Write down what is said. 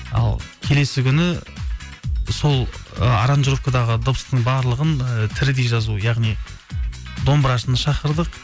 ал келесі күні сол ы аранжировкадағы дыбыстың барлығын і тірідей жазу яғни домбырашыны шақырдық